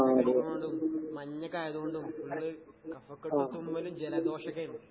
കാറ്റൊക്കെ അടിക്കണോണ്ടും മഞ്ഞൊക്കായതോണ്ടും കഫക്കെട്ട്, തുമ്മല്, ജലദോഷോക്കെയിണ്ട്.